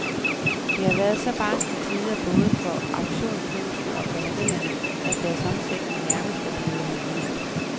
Det har været så barske tider både for auktionshusene og gallerierne, at deres omsætning nærmest er blevet halveret.